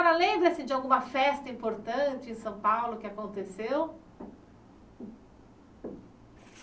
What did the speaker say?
A senhora, lembra-se de alguma festa importante em São Paulo que aconteceu?